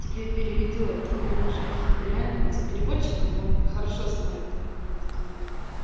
тебе переведёт только он уже реально не с переводчиком он хорошо знает украинский язык